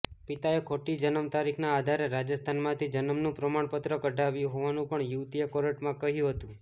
પિતાએ ખોટી જન્મ તારીખના આધારે રાજસ્થાનમાંથી જન્મનું પ્રમાણપત્ર કઢાવ્યું હોવાનું પણ યુવતીએ કોર્ટમાં કહ્યું હતું